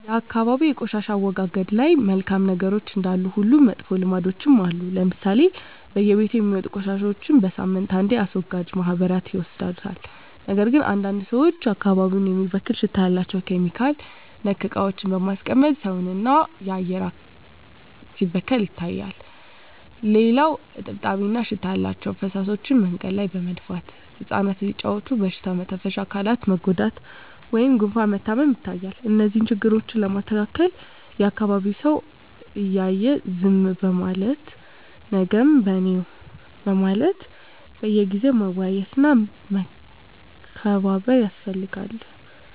የአካባቢ የቆሻሻ አወጋገድ ላይ መልካም ነገሮች እንዳሉ ሁሉ መጥፎ ልምዶችም አሉ ለምሳሌ በየቤቱ የሚወጡ ቆሻሻዎች በሳምንት አንዴ አስወጋጅ ማህበራት ይወስዱታል ነገር ግን አንዳንድ ሰዎች አካባቢን የሚበክል ሽታ ያላቸው (ኬሚካል)ነክ እቃዎችን በማቃጠል ሰውን እና የአካባቢ አየር ሲበከል ይታያል። ሌላው እጥብጣቢ እና ሽታ ያላቸው ፍሳሾች መንገድ ላይ በመድፋት እፃናት ሲጫዎቱ በሽታ መተንፈሻ አካላት መጎዳት ወይም ጉፋን መታመም ይታያል። እነዚህን ችግሮች ለማስተካከል የአካቢዉ ሰው እያየ ዝም ከማለት ነገም በኔነው በማለት በየጊዜው መወያየት እና መመካከር ያስፈልጋል።